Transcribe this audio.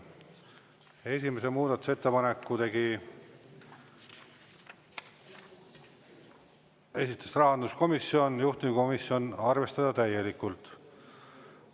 Esimese muudatusettepaneku esitas rahanduskomisjon ja juhtivkomisjon arvestada täielikult.